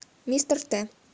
мистер т